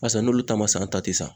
Barisa n'olu ta ma san ta te san